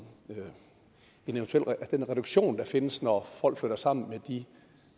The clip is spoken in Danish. den reduktion der findes når folk flytter sammen med de